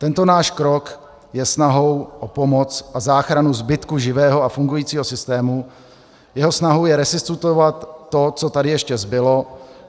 Tento náš krok je snahou o pomoc a záchranu zbytku živého a fungujícího systému, jeho snahou je resuscitovat to, co tady ještě zbylo.